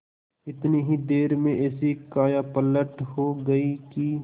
इतनी ही देर में ऐसी कायापलट हो गयी कि